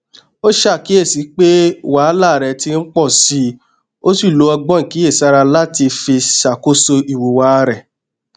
ó ṣàkíyèsí pé wàhálà rẹ ti n pọ síi ó sì lo ọgbọn ìkíyèsára láti fi ṣàkóso ìhùwà rẹ